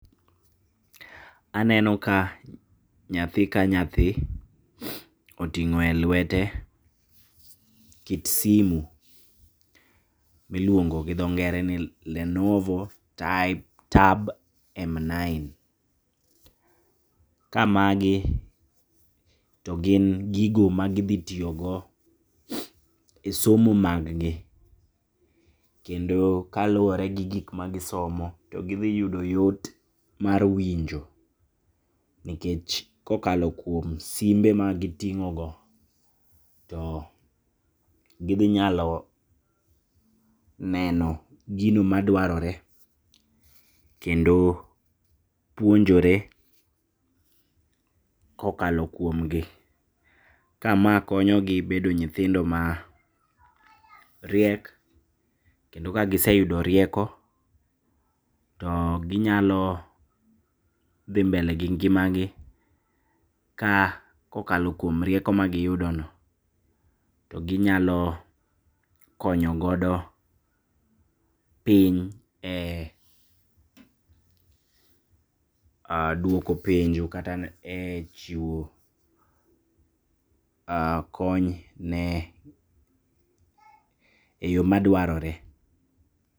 Aneno ka nyathi ka nyathi oting'o e lwete kit simu miluongo gi dho ngere ni Lenovo Tab M9. Ka magi togin gigo magidhi tiyogo e somo mag gi, kendo kaluore gi gikma gisomo to gidhiyudo yot mar winjo nikech kokalo kuom simbe magiting'o go, to gidhinyalo neno gino madwarore, kendo puonjore kokalo kuomgi. Kama konyogi bedo nyithindo mariek, kendo ka giseyudo rieko to ginyalo dhi mbele gi ngimagi kokalo kuom rieko magiyudono to ginyalo konyo godo piny e duoko penjo kata e chiwo kony ne eyo madwarore.